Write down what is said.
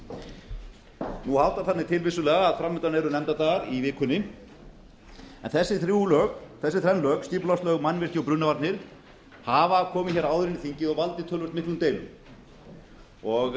brunavarnir nú háttar þannig til vissulega að fram undan eru nefndardagar í vikunni en þessi þrenn lög skipulagslög mannvirki og brunavarnir hafa komið hér áður inn í þingið og valdið töluvert miklum